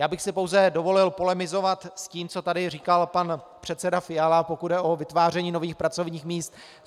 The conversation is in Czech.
Já bych si pouze dovolil polemizovat s tím, co tady říkal pan předseda Fiala, pokud jde o vytváření nových pracovních míst.